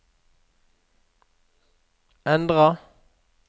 endra